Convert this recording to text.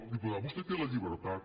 diputada vostè té la llibertat